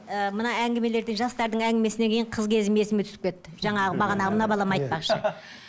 ыыы мына әңгімелерден жастардың әңгімесінен кейін қыз кезім есіме түсіп кетті жаңағы бағанағы мына балам айтпақшы